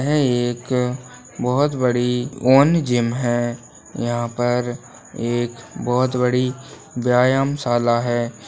यह एक बहुत बड़ी ओन जिम है यहाँ पर एक बहुत बड़ी व्यायाम शाला है।